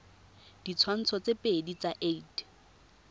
ditshwantsho tse pedi tsa id